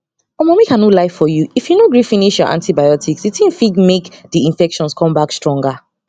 omo make i no lie give you if you no gree finish your antibiotics the thing fig make the infections come back stronger